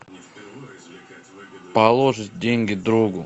положить деньги другу